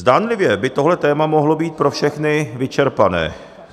Zdánlivě by tohle téma mohlo být pro všechny vyčerpané.